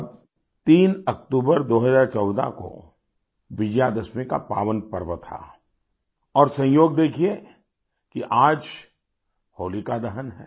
तब 3 अक्टूबर 2014 को विजयादशमी का पावन पर्व था और संयोग देखिये कि आज होलिका दहन है